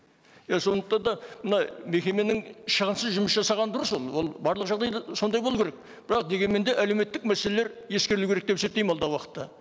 иә сондықтан да мына мекеменің шығынсыз жұмыс жасағаны дұрыс оның ол барлық жағдайда сондай болу керек бірақ дегенмен де әлеуметтік мәселелер ескерілу керек деп есептеймін алдағы уақытта